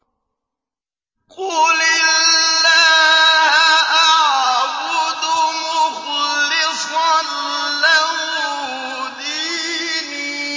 قُلِ اللَّهَ أَعْبُدُ مُخْلِصًا لَّهُ دِينِي